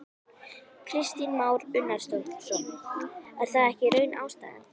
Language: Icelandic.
Kristinn Már Unnarsson: Er það ekki í raun ástæðan?